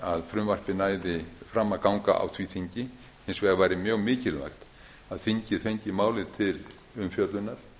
að frumvarpið næði fram að ganga á því þingi hins vegar væri mjög mikilvægt að þingið fengi málið til umfjöllunar